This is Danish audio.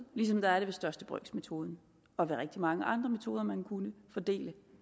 ligesom der er det ved største brøks metode og ved rigtig mange andre metoder man kunne fordele